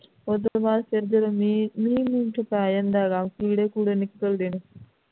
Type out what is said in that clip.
ਉਸ ਤੋਂ ਬਾਅਦ ਫੇਰ ਜਿਹੜਾ ਮੀਂਹ ਮੀਂਹ ਮੁ ਪੈ ਜਾਂਦਾ ਹੈ ਗਾਂ ਕਿੜੇ ਕੁੜੇ ਨਿਕਲਦੇ ਨੇ